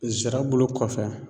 Zira bulu kɔfɛ